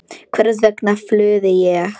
Hvers vegna flúði ég?